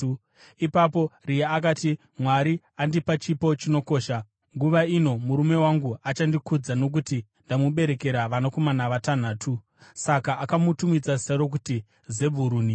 Ipapo Rea akati, “Mwari andipa chipo chinokosha. Nguva ino murume wangu achandikudza, nokuti ndamuberekera vanakomana vatanhatu.” Saka akamutumidza zita rokuti Zebhuruni.